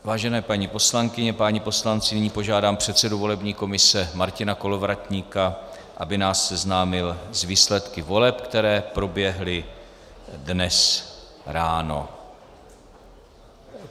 Vážené paní poslankyně, páni poslanci, nyní požádám předsedu volební komise Martina Kolovratníka, aby nás seznámil s výsledky voleb, které proběhly dnes ráno.